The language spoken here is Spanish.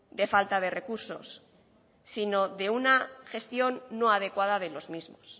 de falta de recursos sino de una gestión no adecuada de los mismos